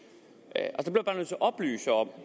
at oplyse om